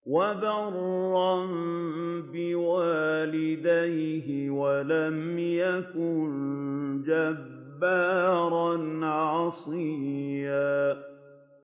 وَبَرًّا بِوَالِدَيْهِ وَلَمْ يَكُن جَبَّارًا عَصِيًّا